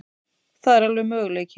Það er alveg möguleiki.